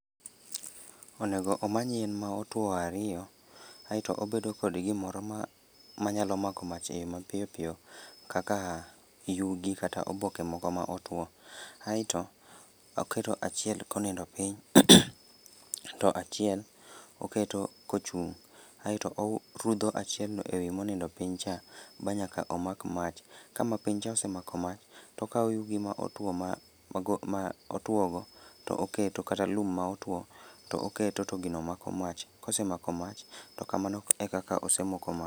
Onego omany yien ma otuo ariyo, aeto obedo kod gimoro ma manyalo mako mach eyo mapiyopiyo, kaka yugi kata oboke moko ma otuo. Aeto, oketo achiel konindo piny, to achiel, oketo kochung'. Aeto rudho achiel no ewi monindo piny cha, ba nyaka omak mach. Ka mapiny cha osemako mach, tokaw yugi ma otuo ma mago ma otuogo to oketo kata lum ma otuo to oketo to gino mako mach, kosemako mach, to kamano e kaka osemoko mach